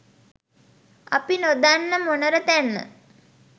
අපි නොදන්න මොනර තැන්න